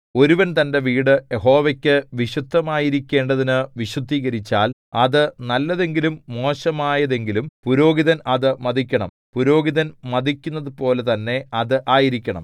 ഒരുവൻ തന്റെ വീട് യഹോവയ്ക്കു വിശുദ്ധമായിരിക്കേണ്ടതിനു വിശുദ്ധീകരിച്ചാൽ അത് നല്ലതെങ്കിലും മോശമായതെങ്കിലും പുരോഹിതൻ അത് മതിക്കണം പുരോഹിതൻ മതിക്കുന്നതുപോലെ തന്നെ അത് ആയിരിക്കണം